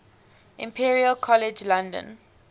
imperial college london